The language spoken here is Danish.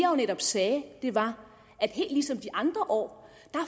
jo netop sagde var at helt ligesom de andre år